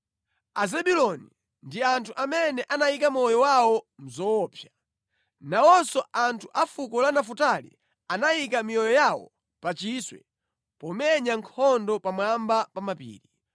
Azebuloni ndi anthu amene anayika moyo wawo mʼzoopsa. Nawonso anthu a fuko la Nafutali anayika miyoyo yawo pa chiswe pomenya nkhondo pamwamba pa mapiri.